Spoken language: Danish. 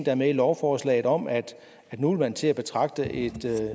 er med i lovforslaget om at nu vil man til at betragte et